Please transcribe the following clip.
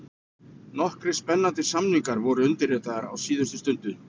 Nokkrir spennandi samningar voru undirritaðir á síðustu stundu: